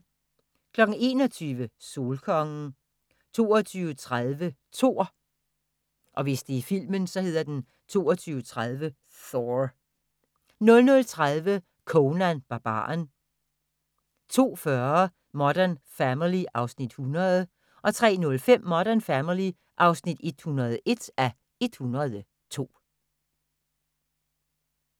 21:00: Solkongen 22:30: Thor 00:30: Conan Barbaren 02:40: Modern Family (100:102) 03:05: Modern Family (101:102)